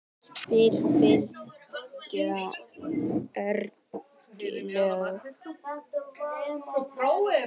spyr Bylgja ergileg.